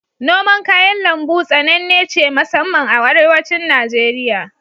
Noman kayan lambu tsanenne ce masamman a Arewacin Najeriya.